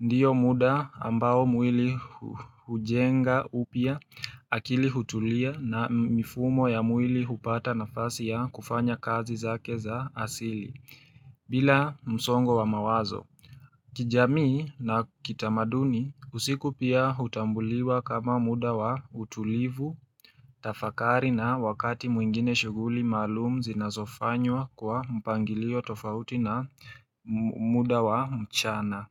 ndiyo muda ambao mwili hujenga upya, akili hutulia na mifumo ya mwili hupata nafasi ya kufanya kazi zake za asili bila msongo wa mawazo. Kijamii na kitamaduni usiku pia hutambuliwa kama muda wa utulivu, tafakari na wakati mwingine shughuli maalum zinazofanywa kwa mpangilio tofauti na muda wa mchana.